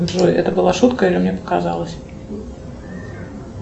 джой это была шутка или мне показалось